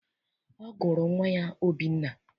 Ọ gụrụ nwa ya Obinna.